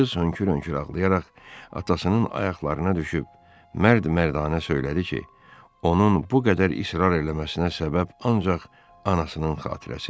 Qız hönkür-hönkür ağlayaraq atasının ayaqlarına düşüb mərd-mərdanə söylədi ki, onun bu qədər israr eləməsinə səbəb ancaq anasının xatirəsidir.